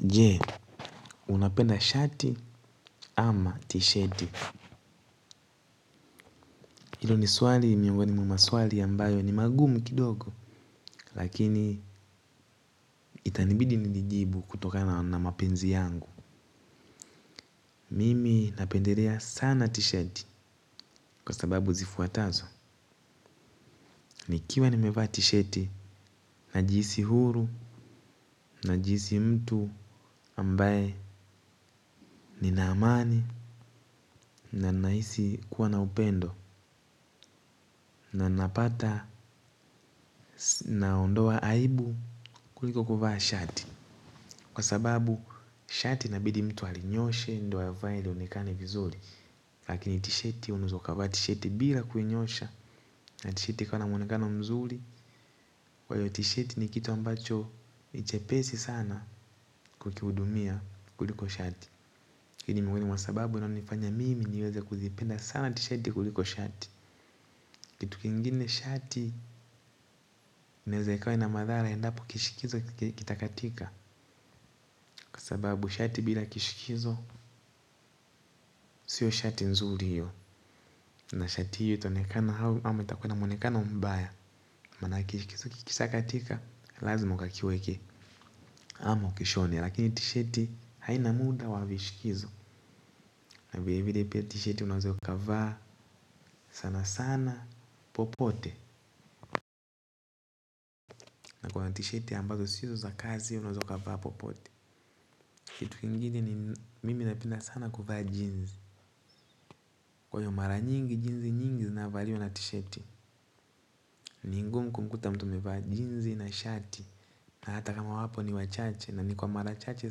Jee, unapenda shati ama tisheti. Ilo ni swali, miongoni mwa maswali ambayo ni magumu kidogo. Lakini itanibidi nilijibu kutokana na mapenzi yangu. Mimi napendelea sana tisheti kwa sababu zifuatazo. Nikiwa nimevaa tisheti najisi huru najihisi mtu ambaye nina amani na nahisi kuwa na upendo na napata naondoa aibu kuliko kuvaa shati kwa sababu shati inabidi mtu alinyooshe ndio avae lionekane vizuri lakini tisheti unaeza kuvaa tisheti bila kunyoosha na tisheti ikiwa na muonekano mzuri. Kwaiyo tisheti ni kitu ambacho ni chepesi sana kukihudumia kuliko shati hii ni muhimu kwa sababu inanifanya mimi niweze kuzipenda sana tisheti kuliko shati. Kitu kingine shati inaeza ikawa na madhara endapo kishikizo kitakatika. Kwa sababu shati bila kishikizo sio shati nzuri hio na shati hio itaonekana au itakuwa na muonekano mbaya manake kikishakatika lazima ukakiweke ama ukishone lakini tisheti haina muda wa vishikizo. Na vile vile pia tisheti unaweza ukavaa sana sana popote. Kwa tisheti ambazo sizo za kazi unaeza ukavaa popote. Kitu kingine ni mimi napenda sana kuvaa jeans. Kwaiyo mara nyingi jinsi nyingi zinayovaliwa na tisheti ni ngumu kumkuta mtu amevaa jeans na shati. Na hata kama wapo ni wachache na ni kwa mara chache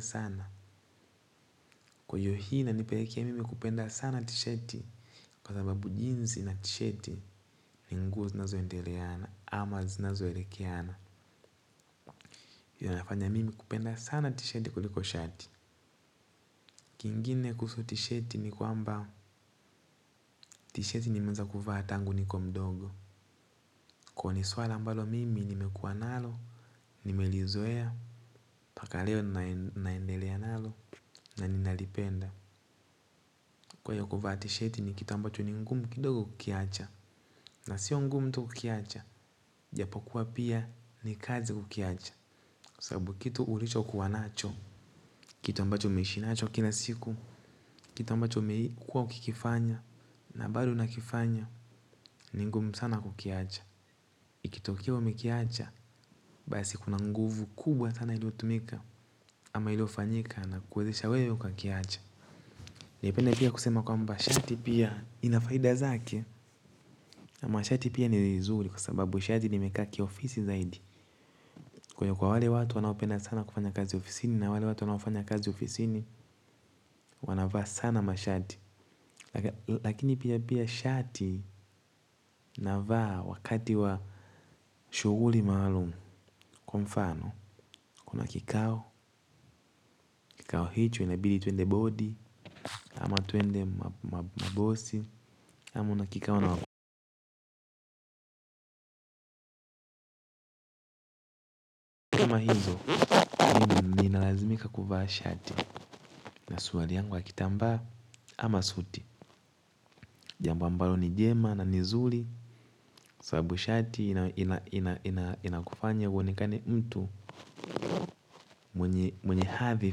sana. Kwaiyo hii inanipelekea mimi kupenda sana tisheti. Kwa sababu jeans na tisheti ni nguo zinazoendeleana ama zinazoelekeana. Yanafanya mimi kupenda sana tisheti kuliko shati. Kingine kuhusu tisheti ni kwamba tisheti nimeanza kuvaa tangu niko mdogo. Kwaio ni swala ambalo mimi nimekuwa nalo, nimelizoea, mpaka leo naendelea nalo, na ninalipenda. Kwaiyo kuvaa tisheti ni kitu ambacho ni ngumu kidogo kukiacha, na sio ngumu tu ukiacha, ijapo kuwa pia ni kazi ukiacha. Sababu kitu ulichokuwa nacho, kitu ambacho umeishi nacho kila siku, kitu ambacho umeikuwa ukikifanya, na bado unakifanya, ni ngumu sana kukiacha. Ikitokea umekiacha basi kuna nguvu kubwa sana iliotumika. Ama ilio fanyika na kuwezesha wewe ukakiacha. Ni ukweli pia kusema kwamba shati pia ina faida zake ama shati pia ni zuri kwa sababu shati nimekaa kiofisi zaidi. Kwenye kwa wale watu wanaopenda sana kufanya kazi ofisini. Na wale watu wanaofanya kazi ofisini wanavaa sana mashati. Lakini pia pia shati navaa wakati wa shughuli maalumu. Kwa mfano, kuna kikao, kikao hicho inabidi tuende bodi. Ama tuende mabosi. Ama una kikao na kama hizo ninalazimika kuvaa shati. Na suruali yangu ya kitambaa ama suti jambo ambalo ni jema na ni zuri sababu shati inakufanya uonekana mtu mwenye hadhi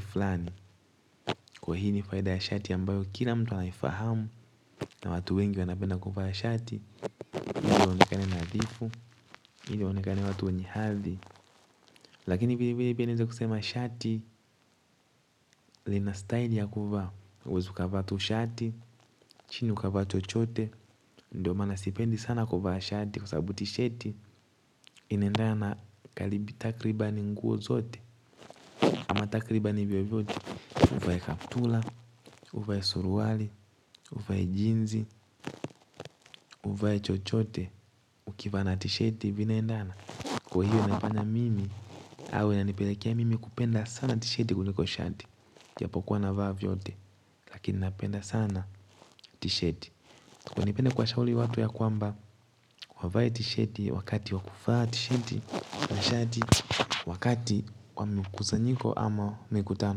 flani. Kwa hii ni faida ya shati ambayo kila mtu anaifahamu. Na watu wengi wanapenda kuvaa shati ili waonekane nadhifu, ili waonekane watu wenye hadhi. Lakini vile vile pia naeza kusema shati lina style ya kuvaa huwezi ukavaa tu shati, chini ukavaa chochote. Ndiyo maana sipendi sana kuvaa shati kwa sababu tisheti inaendana karibu takribani nguo zote ama takribani vyovyote uvae kaptura uvae suruali uvae jinsi uvae chochote. Ukivaa na tisheti vinaendana. Kwa hiyo inafanya mimi, au inanipelekea mimi kupenda sana tisheti kuliko shati ijapokuwa navaa vyote, lakini napenda sana tisheti. Kwaivo napenda kuwashauri watu ya kwamba, wavea tisheti, wakati wa kuvaa tisheti, na shati, wakati wa mikusanyiko ama mikutano.